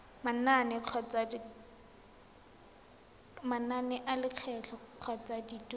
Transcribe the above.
manane a lekgetho kgotsa dituelo